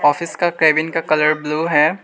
Office का cabin का colour blue है।